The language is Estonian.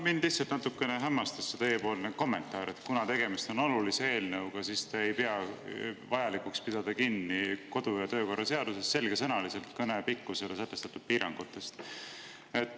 Mind lihtsalt natuke hämmastas teiepoolne kommentaar, et kuna tegemist on olulise eelnõuga, siis te ei pea vajalikuks pidada kinni kodu- ja töökorra seaduses selgesõnaliselt kõne pikkusele sätestatud piirangutest.